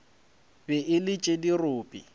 be e le tša dirope